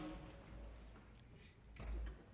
vi